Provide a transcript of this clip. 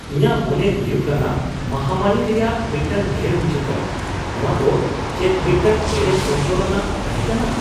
ᱤᱧᱟᱜ ᱢᱚᱱᱮ ᱦᱩᱭᱩᱜ ᱠᱟᱱᱟ ᱢᱟᱦᱟᱢᱟᱹᱨᱤ ᱨᱮᱭᱟᱜ ᱢᱤᱫᱴᱟᱝ ᱰᱷᱮᱣ ᱦᱤᱡᱩᱜ ᱠᱟᱱᱟ ᱾ ᱱᱚᱣᱟ ᱫᱚ ᱪᱮᱫ ᱢᱤᱫᱴᱟᱝ ᱮᱲᱮ ᱥᱚᱱᱛᱚᱨᱟᱱᱟᱜ ᱛᱟᱦᱮᱸᱠᱟᱱᱟ ?